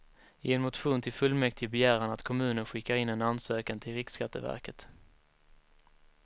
I en motion till fullmäktige begär han att kommunen skickar in en ansökan till riksskatteverket.